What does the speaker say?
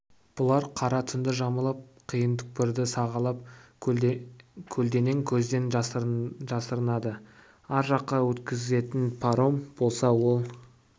бұлар қара түнді жамылып қиын түкпірді сағалап көлденең көзден жасырынады ар жаққа өткізетін паром болса ол